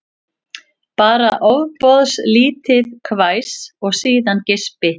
Bara ofboðlítið hvæs og síðan geispi